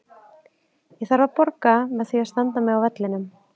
Ég þarf að borga með því að standa mig á vellinum.